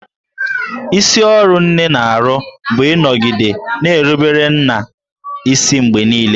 Isi ọrụ nne na-arụ bụ ịnọgide na-erubere nna isi mgbe niile